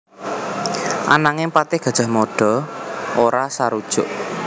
Ananging patih Gajah Mada ora sarujuk